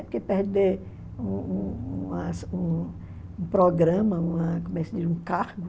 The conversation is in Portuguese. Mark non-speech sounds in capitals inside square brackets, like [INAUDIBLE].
Porque perder um um uma [UNINTELLIGIBLE] um um programa, uma, como é que se diz, um cargo.